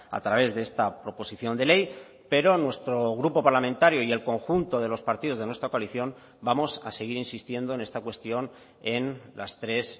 a través de esta proposición de ley pero nuestro grupo parlamentario y el conjunto de los partidos de nuestra coalición vamos a seguir insistiendo en esta cuestión en las tres